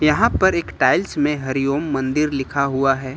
यहां पर एक टाइल्स में हरिओम मंदिर लिखा हुआ है।